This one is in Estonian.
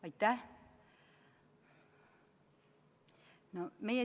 Aitäh!